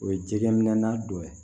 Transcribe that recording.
O ye jɛgɛ minɛ na dɔ ye